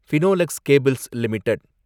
Finolex cables limited